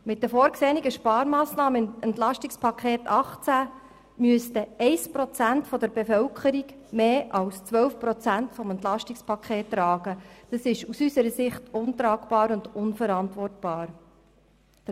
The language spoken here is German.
Mit den vorgesehenen Sparmassnahmen im EP 2018 müsste 1 Prozent der Bevölkerung mehr als 12 Prozent des EP tragen, was untragbar und unverantwortbar ist.